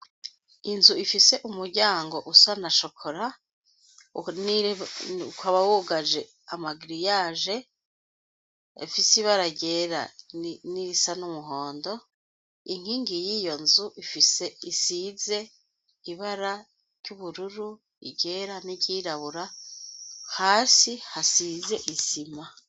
Inzu ifise umuryango usa na chocolat ukaba wugaje nama grillage afise ibara ryera nirisa numuhondo inkingi yiyonzu ifise isize ibara ryubururu iryera iryirabura hasi hasize isima